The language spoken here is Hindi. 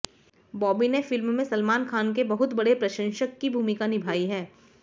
बॉबी ने फिल्म में सलमान खान के बहुत बड़े प्रशंसक की भूमिका निभाई है